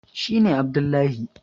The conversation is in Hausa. shi ne Abdullahi